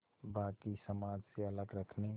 बाक़ी समाज से अलग रखने